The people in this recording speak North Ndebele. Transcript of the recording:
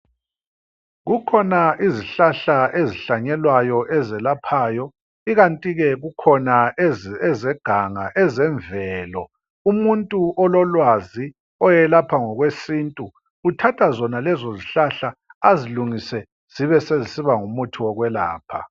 Kukhona izihlahla ezihlanyelwayo ezelaphayo ikanti ke kukhona ezeganga ezemvelo. Umuntu ololwazi oyelapha ngokwesintu uthatha zona lezo izihlahla azilungise zibe sezisiba ngumuthi wekwelapha.